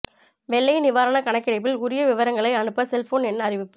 வெள்ள நிவாரண கணக்கெடுப்பில் உரிய விவரங்களை அனுப்ப செல்போன் எண் அறிவிப்பு